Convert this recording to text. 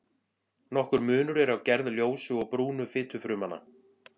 Nokkur munur er á gerð ljósu og brúnu fitufrumnanna.